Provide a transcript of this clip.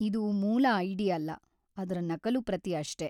ಇದು ಮೂಲ ಐಡಿ ಅಲ್ಲ, ಅದ್ರ ನಕಲು ಪ್ರತಿ ಅಷ್ಟೇ.